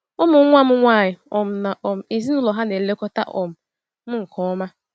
Ụmụ nwa m nwanyị um na um ezinụlọ ha na-elekọta um m nke ọma.